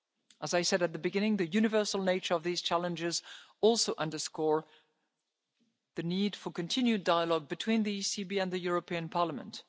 its part. As I said at the beginning, the universal nature of these challenges also underscores the need for continued dialogue between the ECB and the European Parliament.